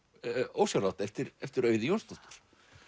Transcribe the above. ósjálfrátt eftir eftir Auði Jónsdóttur